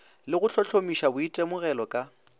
le go hlohlomipa boitemogelo ka